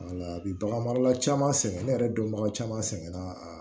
A bi bagan mara caman sɛgɛn ne yɛrɛ dɔnbaga caman sɛgɛn na